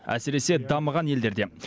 әсіресе дамыған елдерде